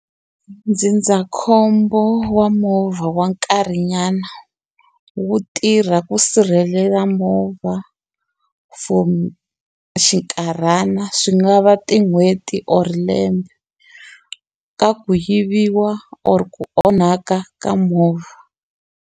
Ndzindzakhombo wa movha wa nkarhi nyana wu tirha ku sirhelela movha for xinkarhana swi nga va tin'hweti or lembe ka ku yiviwa or ku onhaka ka movha.